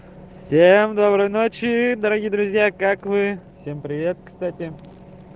всем доброй ночи дорогие друзья как вы всем привет кстати